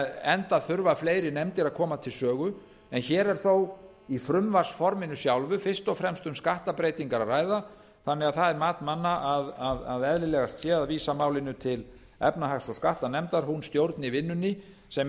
enda þurfa fleiri nefndir að koma til sögu en hér er þó í frumvarpsforminu sjálfu fyrst og fremst um sakttabreytingar að ræða þannig að það er mat manna að eðlilegast sé að vísa málinu til efnahags og skattanefndar hún stjórni vinnunni sem